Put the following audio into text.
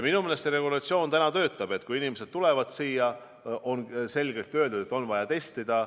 Minu meelest see regulatsioon täna töötab, et kui inimesed tulevad siia, siis on neile selge, et on vaja testida.